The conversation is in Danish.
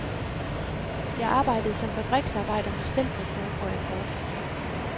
Jeg arbejdede som fabriksarbejder med stempelkort og akkord.